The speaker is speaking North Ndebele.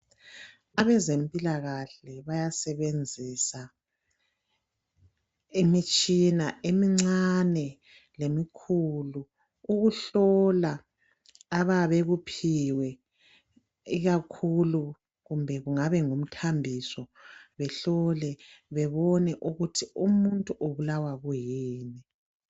Abezempilakahle bayasebenzisa imitshina emincane lemikhulu ukuhlola abayabe bekuphiwe ikakhulu kumbe kungabe ngumthambiso behlole bebone ukuthi umuntu ubulawa yini.